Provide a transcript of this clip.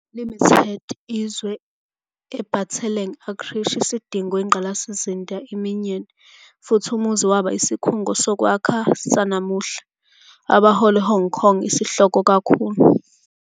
Limited izwe a bataletseng a Krrish isidingo ingqalasizinda aminyene, futhi umuzi waba isikhungo bokwakha zanamuhla, abahola Hong Kong isihloko kakhulu